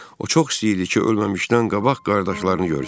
O çox istəyirdi ki, ölməmişdən qabaq qardaşlarını görsün.